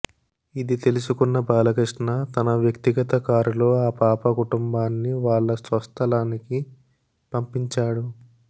ఇది తెలుసుకున్న బాలకృష్ణ తన వ్యక్తిగత కారులో ఆ పాప కుటుంబాన్నివాళ్ళ స్వస్థలానికి పంపించాడు